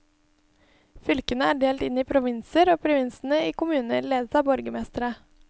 Fylkene er delt inn i provinser, og provinsene i kommuner, ledet av borgermestere.